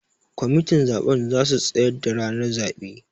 Kwamitin zaben zasu tsayar da ranar zaɓe